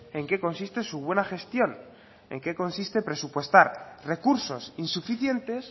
en qué consiste su buena gestión en qué consiste presupuestar recursos insuficientes